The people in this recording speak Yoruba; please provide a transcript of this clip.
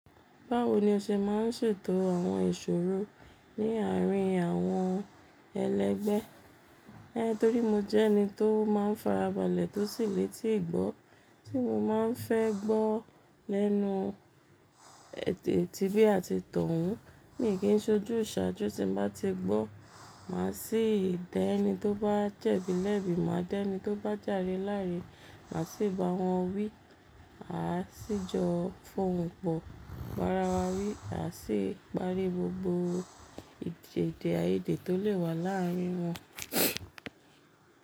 Báwo ni o ṣe máa ń ṣètò àwọn ìṣòro ní àárín àwọn ẹlẹgbẹ́? È torí mo jẹ́ ẹni tó máa ń farabalẹ̀ tó sì le tíì gbó, tí mo máa ń fẹ́ gbọ́ lẹ́nu ètí tí bí a ti tàn wọ́n. Mi kì í ṣojú ìṣàjú tí mo bá ti gbọ́. Máa sì dẹ ẹni tó bá jẹ̀bi lẹ́bi, máa dẹ ẹni tó bá jàre láre, màá sì bá wọn wí, "A sì jọ fọ́n wọn pọ̀." Rárá, wá wí, "A sì parí gbogbo èdèdè àìdè tó lè wà láàárín wọn."